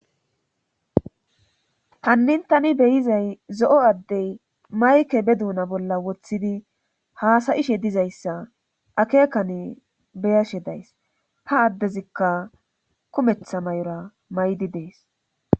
hannin tani beyizay zo7o addey mayke be duuna bolla woththidi haasayishe dizayssa akeekane beyashe days ha addezikka kumetha may7ora maydi dees